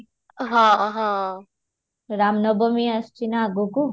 ହଁ, ହଁ ରାମନବମୀ ଆସୁଛି ନା ଆଗକୁ